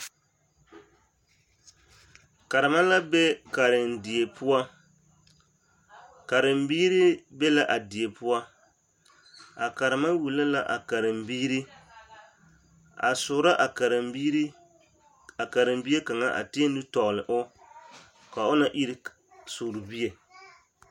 Karema la be karendie poɔ, karembiiri be la a poɔ, a karema wulo la a karembiiri a soorɔ a karembiiri, a karembie kaŋa a tēɛ nu tɔgele o ka o na iri soorebie.